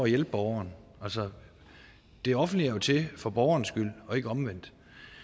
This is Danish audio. hjælpe borgerne altså det offentlige er jo til for borgernes skyld og ikke omvendt